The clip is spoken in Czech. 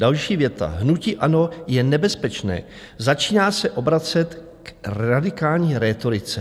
Další věta: "Hnutí ANO je nebezpečné, začíná se obracet k radikální rétorice."